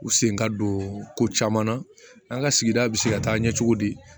U sen ka don ko caman na an ka sigida bi se ka taa ɲɛ cogo di